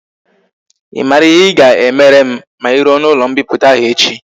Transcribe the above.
I mara ihe i ga emere m ma i ruo na ulo mpiputa ahu echi?